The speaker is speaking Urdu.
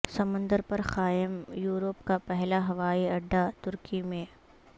سمندر پر قائم یورپ کا پہلا ہوائی اڈہ ترکی میں